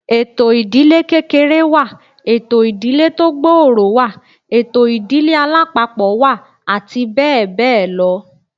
Ètò ìdílé kékeré wà, ètò ìdílé tó gbòòrò wà, ètò ìdílé alápapọ̀ wà àti bẹ́ẹ̀ bẹ́ẹ̀ lọ